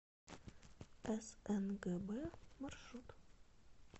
снгб маршрут